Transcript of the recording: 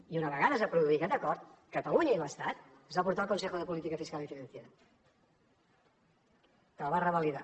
i una vegada es va produir aquest acord catalunya i l’estat es va portar al consejo de política fiscal y financiera que el va revalidar